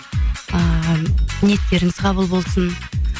ыыы ниеттеріңіз қабыл болсын